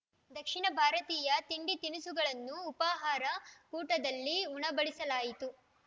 ದಕ್ಷಿಣ ಭಾರತೀಯ ತಿಂಡಿತಿನಿಸುಗಳನ್ನು ಉಪಾಹಾರ ಕೂಟದಲ್ಲಿ ಉಣಬಡಿಸಲಾಯಿತು